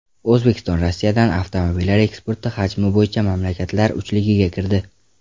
O‘zbekiston Rossiyadan avtomobillar eksporti hajmi bo‘yicha mamlakatlar uchligiga kirdi.